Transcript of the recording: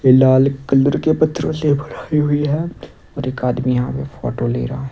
ये लाल कलर के पत्रों से बनायी हुई है और एक आदमी यहां फोटो ले रहा--